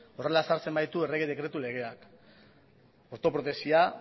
horrela ezartzen baitu errege dekretu legeak ortoprotesia